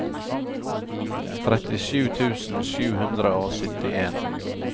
trettisju tusen sju hundre og syttien